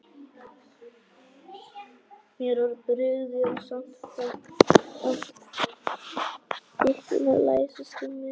Mér var brugðið, en fann samt þykkjuna læsast um mig.